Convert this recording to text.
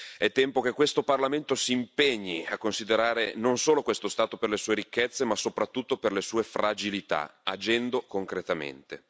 È tempo che questo Parlamento si impegni a considerare non solo questo Stato per le sue ricchezze, ma soprattutto per le sue fragilità, agendo concretamente.